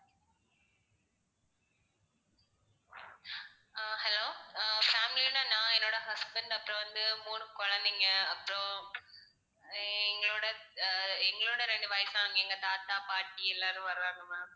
அஹ் hello அஹ் family யோட நான் என்னோட husband அப்பறம் வந்து மூணு குழந்தைங்க அப்பறம் எங்களோட ஆஹ் எங்களோட ரெண்டு வயசான எங்க தாதா பாட்டி எல்லாரும் வர்றாங்க ma'am